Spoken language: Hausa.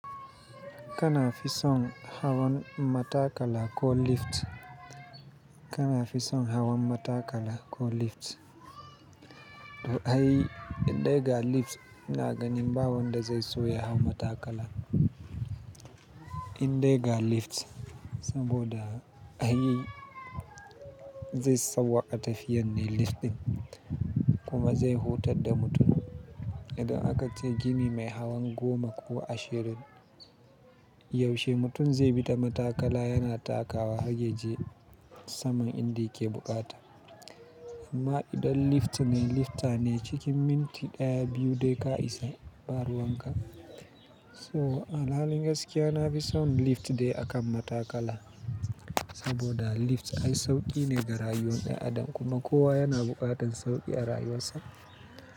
Kana fi son hawan matakala ko lift? Kana fi son hawan matakala ko lift? To ai, in dai ga lift ina ganin ba wanda zai so ya hau matakala in dai ga lift, saboda ai zai sauwaƙa tafiyan ne lift ɗin kuma zai hutar da mutum. Idan aka ce gini mai hawan goma ko ashirin, yaushe mutum zai bi ta matakala yana takawa haryaje saman in da ya ke bukata. Amma idan lift ne, lifter ne cikin minti ɗaya, biyu dai ka isa, ba ruwan ka. So a halin gaskiya na fi son lift dai akan matakala. Saboda lift ai sauƙi ne ga rayuwar ɗan adam kuma kowa yana buƙatar sauƙi a rayuwarsa.